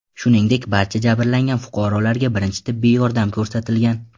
Shuningdek, barcha jabrlangan fuqarolarga birinchi tibbiy yordam ko‘rsatilgan.